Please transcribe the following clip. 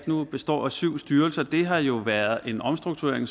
nu består af syv styrelser har jo været en omstrukturering